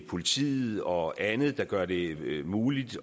politiet og andet der gør det muligt